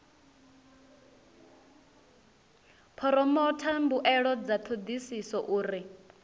phoromotha mbuelo dza thodisiso uri